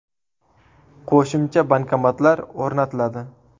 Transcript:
Qo‘shimcha bankomatlar o‘rnatiladi.